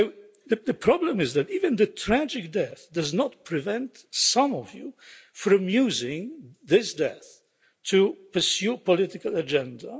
So the problem is that even this tragic death does not prevent some of you from using this death to pursue a political agenda.